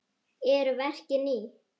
Eru verkin ný?